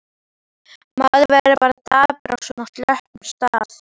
Maður verður bara dapur á svona slöppum stað.